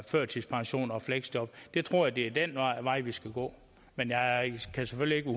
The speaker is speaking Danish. førtidspension og fleksjob jeg tror det er den vej vi skal gå men jeg kan selvfølgelig ikke